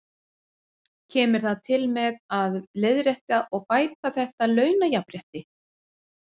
Kemur það til með að leiðrétta og bæta þetta launajafnrétti?